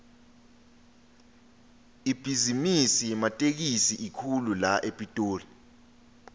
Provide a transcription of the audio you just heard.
ibhizimisi yematekisi inkhulu la epitoli